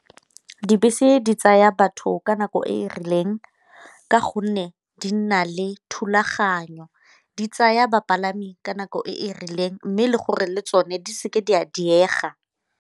Dibese di tsaya batho ka nako e e rileng ka gonne di nna le thulaganyo, di tsaya bapalami ka nako e e rileng mme le gore le tsone di seke di a diega.